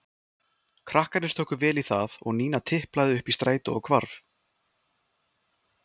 Krakkarnir tóku vel í það og Nína tiplaði upp í strætó og hvarf.